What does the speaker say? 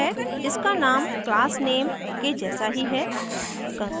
इसका name class name के जैसा ही है